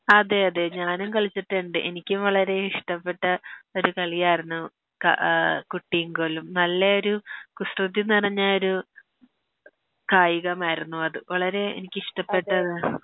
അതെയതെ ഞാനും കളിച്ചിട്ട്ണ്ട് എനിക്കും വളരെ ഇഷ്ട്ടപ്പെട്ട ഒരു കളിയാര്ന്നു ക ആ കുട്ടീം കോലും നല്ലയൊരു കുസ്യതി നെറഞ്ഞയൊരു കായികമായിരുന്നു അത് വളരെ എനിക്ക് ഇഷ്ട്ടപ്പെട്ടതാ